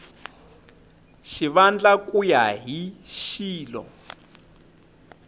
xivandla ku ya hi xilo